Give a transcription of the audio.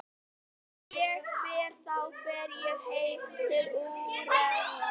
Ef ég fer þá fer ég heim til Úrúgvæ.